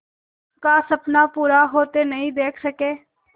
का सपना पूरा होते नहीं देख सके